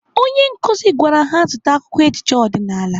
Onye nkụzi gwara ha zụta akwụkwọ ejije ọdịnaala.